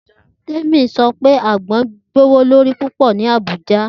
Temi sọ pe agbon jẹ gbowolori pupọ ni Abuja.